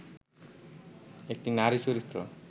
একটি নারী চরিত্র